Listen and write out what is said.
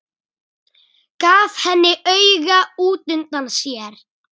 Gaf henni auga útundan sér.